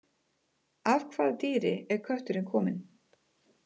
Af hvaða dýri er kötturinn kominn?